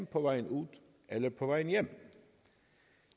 på vejen ud eller på vejen hjem